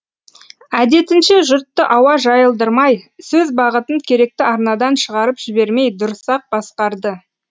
әдетінше жұртты ауа жайылдырмай сөз бағытын керекті арнадан шығарып жібермей дұрыс ақ басқарды